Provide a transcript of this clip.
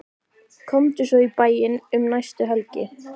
Komdu svo í bæinn um næstu helgi.